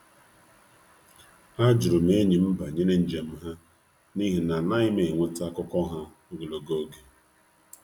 A jụrụ m enyi m maka njem ha banyere na ya n’oge n'adịbeghị anya ebe ọ bụ na anụbeghị m ihe gbasara ya nwa oge.